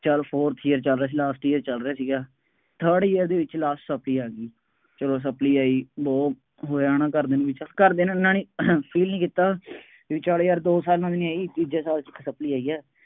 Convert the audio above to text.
ਚੱਲ fourth year ਚੱਲ ਰਿਹਾ ਸੀ last year ਚੱਲ ਰਿਹਾ ਸੀਗਾ। third year ਦੇ ਵਿੱਚ last supply ਆ ਗਈ। ਚੱਲੋ supply ਆਈ, ਬਹੁਤ ਹੋਇਆਂ ਨਾ ਘਰਦਿਆਂ ਨੂੰ, ਘਰਦਿਆਂ ਨੂੰ ਐਨਾ ਨਹੀਂ feel ਨਹੀਂ ਕੀਤਾ। ਬਈ ਚੱਲ ਯਾਰ ਦੋ ਸਾਲ ਤਾਂ ਨਹੀਂ ਆਈ, ਤੀਜੇ ਸਾਲ ਚ supply ਆਈ ਹੈ।